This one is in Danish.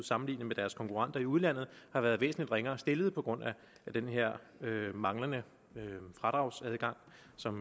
sammenlignet med deres konkurrenter i udlandet har været væsentlig ringere stillet på grund af den her manglende fradragsadgang